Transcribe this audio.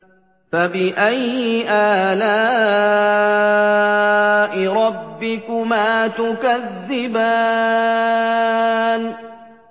فَبِأَيِّ آلَاءِ رَبِّكُمَا تُكَذِّبَانِ